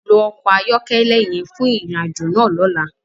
Lo ọkọ ayọkẹlẹ yẹn fun irin-ajo náa lọla!